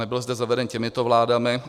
Nebyl zde zaveden těmito vládami.